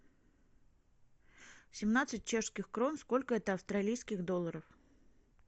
семнадцать чешских крон сколько это австралийских долларов